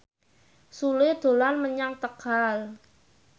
Sule dolan menyang Tegal